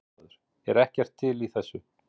Blaðamaður: Er ekkert til í þessu?